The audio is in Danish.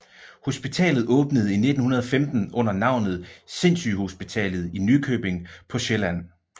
Hospitalet åbnede i 1915 under navnet Sindssygehospitalet i Nykøbing på Sjælland